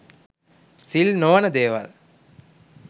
සිල් නොවන දේවල්